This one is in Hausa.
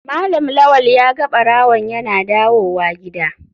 Malam lawal ya ga barawon yana dawowa gida.